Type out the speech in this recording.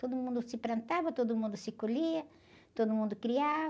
Todo mundo se plantava, todo mundo se colhia, todo mundo criava.